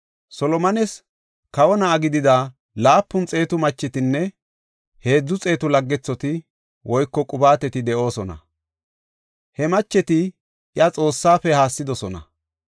Solomones kawo na7a gidida laapun xeetu machetinne heedzu xeetu laggethoti (qubaateti) de7oosona. He macheti iya Xoossafe haassidosona.